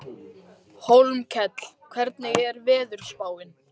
Hólmkell, hvernig er veðurspáin?